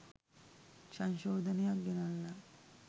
සංශොධනයක් ගෙනල්ලා.